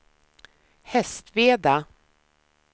Hästveda